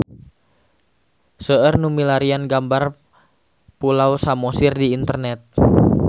Seueur nu milarian gambar Pulau Samosir di internet